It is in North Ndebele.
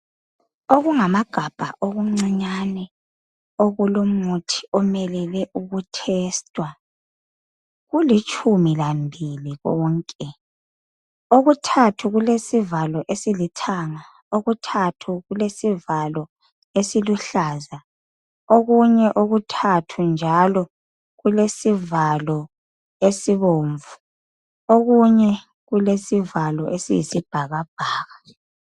okungamagabha okuncinyane okulomuthi omelele ukutester kulitshumi lambili konke okuthathu kulesivalo esilithanga okuluthathu kulesivalo esiluhlaza okunye okuthathu njalo kulesivalo esibomvu okunyekulesivalo esiyisibhakabhaka